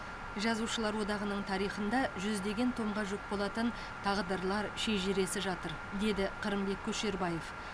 жазушылар одағының тарихында жүздеген томға жүк болатын тағдырлар шежіресі жатыр деді қырымбек көшербаев